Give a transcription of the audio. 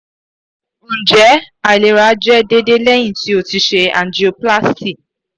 njẹ ailera jẹ déédé lẹ́hìn ti o ti ṣe angioplasty?